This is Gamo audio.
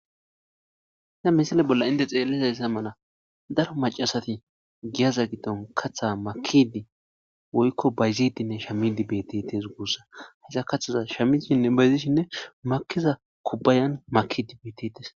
Hayssa missile bolla hintte xeelliya mala daro maccasati giyaza giddon kaththa makkidi woyko bayzidinne sha mmidi dizaysa bessees gusuko. Hayssa kaththaza shammidinne bayzidi makkiza kubayn makkidi beetetees.